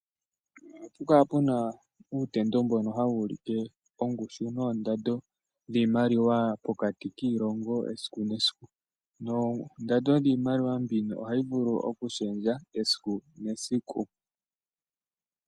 Ohapu kala puna uutendo mbono hawu u like ongushu noondando dhiimaliwa pokati kiilongo esiku nesiku. Noondando dhiimaliwa mbino ohayi vulu oku shendja esiku nesiku.